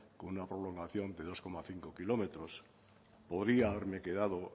con una prolongación de dos coma cinco kilómetros podría haberme quedado